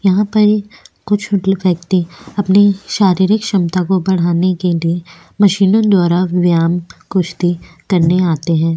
यहाँ पे कुछ व्यक्ति अपनी शारीरिक क्षमता को बढ़ाने के लिए मशीनो द्वारा व्यायाम कुश्ती करने आते हैं।